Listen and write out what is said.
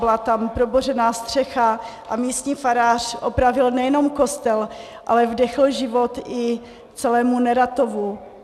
Byla tam probořená střecha a místní farář opravil nejenom kostel, ale vdechl život i celému Neratovu.